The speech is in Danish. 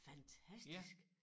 Fantastisk